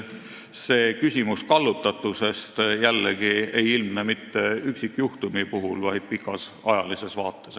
See küsimus kallutatusest, jällegi, ei ilmne mitte üksikjuhtumi puhul, vaid pikas ajalises vaates.